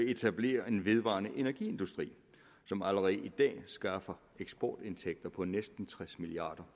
etablerer en vedvarende energiindustri som allerede i dag skaffer eksportindtægter på næsten tres milliard